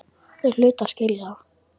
Þeir hlutu að skilja það.